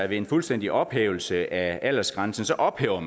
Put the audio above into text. ved en fuldstændig ophævelse af aldersgrænsen ophæver